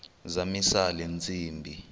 zamisa le ntsimbi